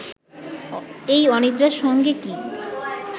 এই অনিদ্রার সঙ্গে কি